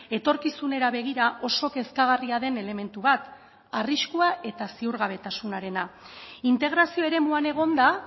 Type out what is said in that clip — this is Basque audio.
etorkizunera begira oso kezkagarria den elementu bat arriskua eta ziurgabetasunarena integrazio eremuan egonda